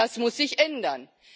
Das muss sich ändern.